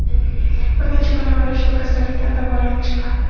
Bir necha kun avval ushbu kasallikdan davolanib chiqqan.